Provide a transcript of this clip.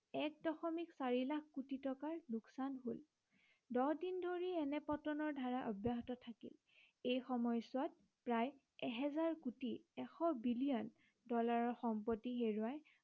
এক দশমিক চাৰি লাখ কোটি টকাৰ লোকচান হল। দহ দিন ধৰি এনে পতনৰ ধাৰা অব্য়াহত থাকিল। এই সময়চোৱাত প্ৰায় এহেজাৰ কোটি এশ বিলিয়ন ডলাৰৰ সম্পত্তি হেৰুৱায়